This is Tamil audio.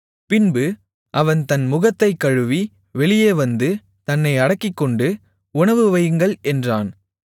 பின்பு அவன் தன் முகத்தைக் கழுவி வெளியே வந்து தன்னை அடக்கிக்கொண்டு உணவு வையுங்கள் என்றான்